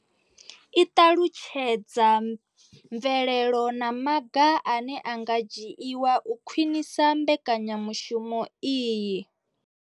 I ṱalutshedza mvelelo na maga ane a nga dzhiwa u khwinisa mbekanyamushumo iyi.